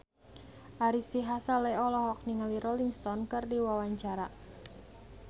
Ari Sihasale olohok ningali Rolling Stone keur diwawancara